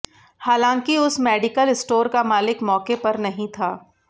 हालांकि उस medical store का मालिक मौके पर नहीं था